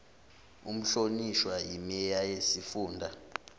umhlonishwa imeya yesifunda